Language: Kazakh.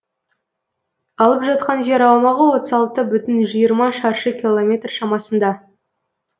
алып жатқан жер аумағы отыз алты бүтін жиырма шаршы километр шамасында